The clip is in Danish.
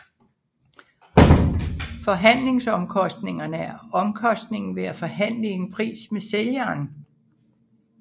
Forhandlingsomkostningerne er omkostningen ved at forhandle en pris med sælgeren